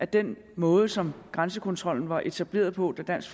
den måde som grænsekontrollen var etableret på da dansk